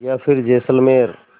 या फिर जैसलमेर